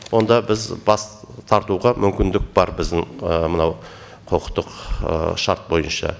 онда біз бас тартуға мүмкіндік бар біздің мынау құқықтық шарт бойынша